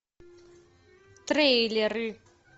трейлеры